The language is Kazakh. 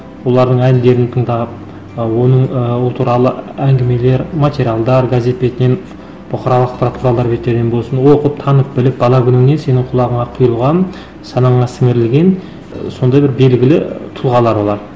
олардың әндерін тыңдап ы оның ы ол туралы әңгімелер материалдар газет бетінен бұқаралық ақпарат құралдардар беттерінен болсын оқып танып біліп бала күніңнен сенің құлағыңа құйылған санаңа сіңірілген ы сондай бір белгілі ы тұлғалар олар